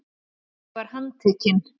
Ég var handtekinn.